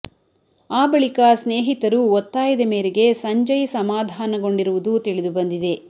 ಆ ಬಳಿಕ ಸ್ನೇಹಿತರು ಒತ್ತಾಯದ ಮೇರೆಗೆ ಸಂಜಯ್ ಸಮಾಧಾನಗೊಂಡಿರುವುದು ತಿಳಿದು ಬಂದಿದೆ